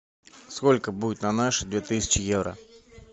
сколько будет на наши две тысячи евро